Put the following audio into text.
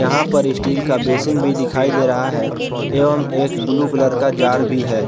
यहा पर स्टील का बेसिन भी दिखाई दे रहा है एवं एक ब्लू कलर का जार भी है।